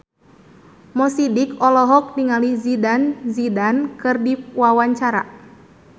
Mo Sidik olohok ningali Zidane Zidane keur diwawancara